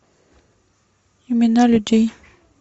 имена людей